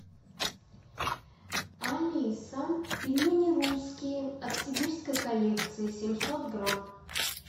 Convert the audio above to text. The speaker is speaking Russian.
алиса пельмени русские от сибирской коллекции семьсот грамм